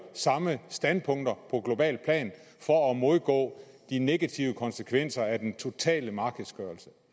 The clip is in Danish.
samme standpunkter på globalt plan for at modgå de negative konsekvenser af den totale markedsgørelse